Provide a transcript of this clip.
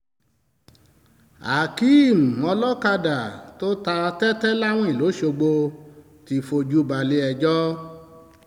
akéem olókàdá tó ta tẹ́tẹ́ láwìn lọ́sgbọ̀ ti fojú balẹ̀-ẹjọ́